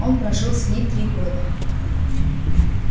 он прожил с ней три года